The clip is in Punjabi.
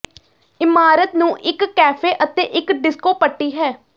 ਇਮਾਰਤ ਨੂੰ ਇੱਕ ਕੈਫੇ ਅਤੇ ਇੱਕ ਡਿਸਕੋ ਪੱਟੀ ਹੈ